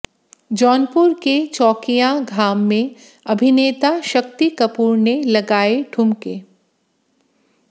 जौनपुर के चौकियां घाम में अभिनेता शक्ति कपूर ने लगाएं ढुमके